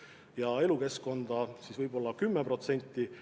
Ja elukeskkonna huvides võiks võib-olla kasutada 10%.